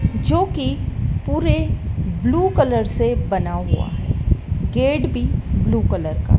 जो कि पूरे ब्लू कलर से बना हुआ है गेट भी ब्लू कलर का--